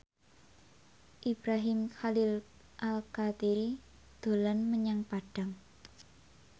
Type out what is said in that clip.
Ibrahim Khalil Alkatiri dolan menyang Padang